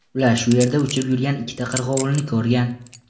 Ular shu yerda uchib yurgan ikkita qirg‘ovulni ko‘rgan.